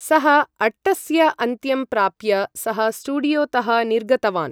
सः अट्टस्य अन्त्यं प्राप्य, सः स्टूडियोतः निर्गतवान्।